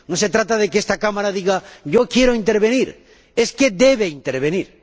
No se trata de que esta Cámara diga yo quiero intervenir, es que debe intervenir.